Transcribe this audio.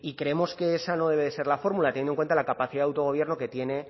creemos que esa no debe ser la fórmula teniendo en cuenta la capacidad de autogobierno que tiene